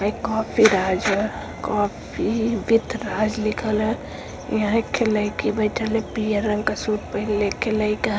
coffee Raj coffee with Raj लिखल ह यहाँ एक लईकी बइठल ह पियर रंग का सूट पहिन लेके लइका --